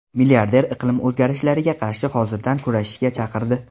Milliarder iqlim o‘zgarishlariga qarshi hozirdan kurashishga chaqirdi.